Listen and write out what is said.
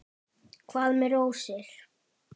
Hvað með rósir?